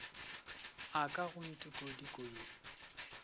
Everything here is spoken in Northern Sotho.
a ka go ntikodiko ye